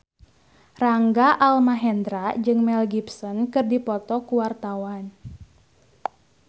Rangga Almahendra jeung Mel Gibson keur dipoto ku wartawan